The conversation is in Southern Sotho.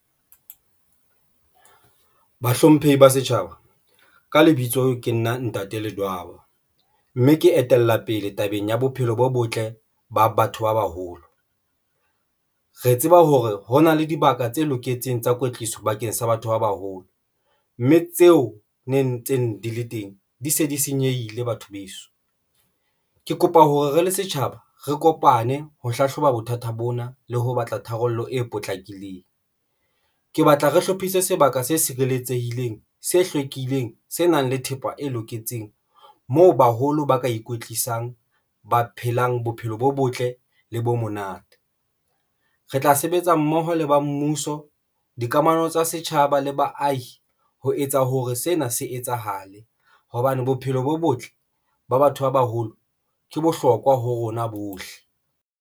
Bahlomphehi ba setjhaba ka lebitso ke nna Ntate Ledwaba mme ke etella pele tabeng ya bophelo bo botle ba batho ba baholo, re tseba hore hona le dibaka tse loketseng tsa kwetliso bakeng sa batho ba baholo mme tseo ne ntseng di le teng di se di senyehile batho beso. Ke kopa hore re le setjhaba, re kopane ho hlahloba bothata bona le ho batla tharollo e potlakileng. Ke batla re hlophise sebaka se sireletsehileng, se hlwekileng, se nang le thepa e loketseng, moo baholo ba ka ikwetlisang ba phelang bophelo bo botle le bo monate, re tla sebetsa mmoho le ba mmuso, dikamano tsa setjhaba le baahi. Ho etsa hore sena se etsahale hobane bophelo bo botle ba batho ba baholo ke bohlokwa ho rona bohle.